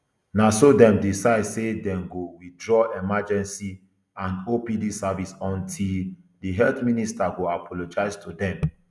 na so dem decide say dem go withdraw emergency and opd services until di health minister go apologize to dem